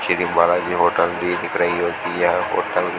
Shri Balaji hotel भी दिख रही है की यह होटल --